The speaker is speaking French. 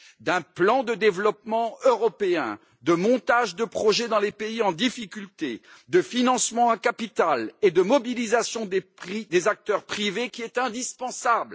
d'un plan de développement européen, du montage de projets dans les pays en difficulté, du financement à capital et de la mobilisation des acteurs privés qui est indispensable.